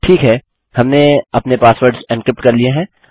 ठीक है हमने अपने पासवर्ड्स एन्क्रिप्ट कर लिए हैं